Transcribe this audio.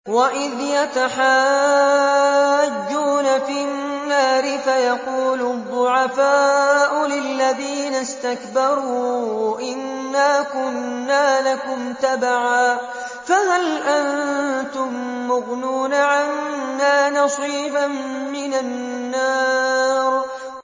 وَإِذْ يَتَحَاجُّونَ فِي النَّارِ فَيَقُولُ الضُّعَفَاءُ لِلَّذِينَ اسْتَكْبَرُوا إِنَّا كُنَّا لَكُمْ تَبَعًا فَهَلْ أَنتُم مُّغْنُونَ عَنَّا نَصِيبًا مِّنَ النَّارِ